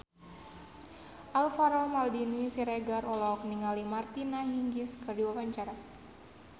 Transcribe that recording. Alvaro Maldini Siregar olohok ningali Martina Hingis keur diwawancara